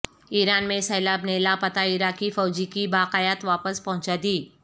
ایران میں سیلاب نے لاپتہ عراقی فوجی کی باقیات واپس پہنچا دیں